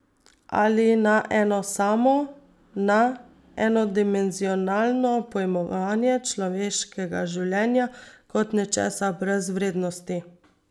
Ali na eno samo, na enodimenzionalno pojmovanje človeškega življenja kot nečesa brez vrednosti.